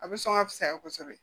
A bɛ sɔn ka fisaya kosɛbɛ